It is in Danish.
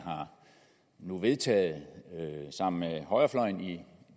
nu har vedtaget sammen med højrefløjen i det